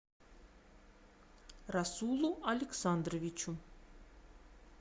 расулу александровичу